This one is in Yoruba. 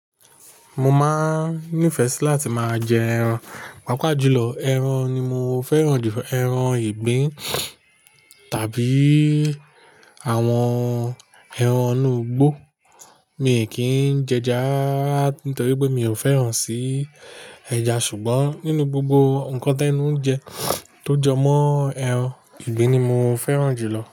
Mo máa nífẹ̀ẹ́ si láti máa jẹ ẹran. Pápá jùlọ, ẹran ni mo fẹ́ràn jù, ẹran ìgbín tàbí àwọn ẹran inú igbó. Mi kì n jẹ ẹja nítorí pé mi ò fẹ́ràn sí ẹja. Ṣùgbọ́n nínú gbogbo nǹkan tí ẹnù ń jẹ tó jọ mọ́ ẹran ìgbín ni mo fẹ́ràn jù lọ.